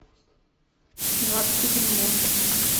двадцать один мост